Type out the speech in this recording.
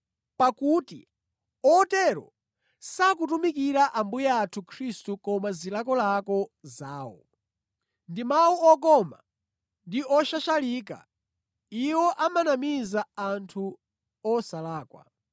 Pakuti otero sakutumikira Ambuye athu Khristu koma zilakolako zawo. Ndi mawu okoma ndi oshashalika iwo amanamiza anthu osalakwa.